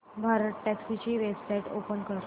भारतटॅक्सी ची website open कर